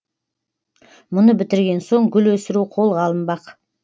мұны бітірген соң гүл өсіру қолға алынбақ